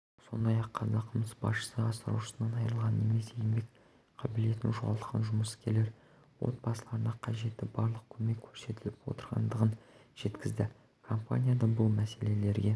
сондай-ақ қазақмыс басшысы асыраушысынан айырылған немесе еңбек қабілетін жоғалтқан жұмыскерлер отбасыларына қажетті барлық көмек көрсетіліп отырғандығын жеткізді компанияда бұл мәселелерге